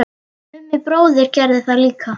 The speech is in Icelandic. Mummi bróðir gerði það líka.